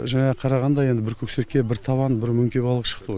жаңа қарағанда енді бір көкшерке бір табан бір мөңке балығы шықты ғой